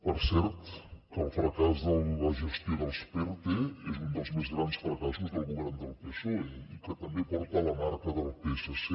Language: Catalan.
per cert que el fracàs de la gestió dels perte és un dels més grans fracassos del govern del psoe i que també porta la marca del psc